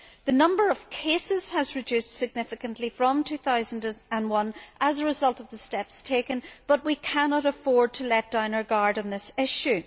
The number of cases has reduced significantly from 2001 as a result of the steps taken, but we cannot afford to let down our guard on this issue.